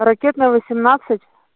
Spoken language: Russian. ракетная восемнадцать